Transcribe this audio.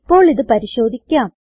ഇപ്പോൾ ഇത് പരിശോധിക്കാം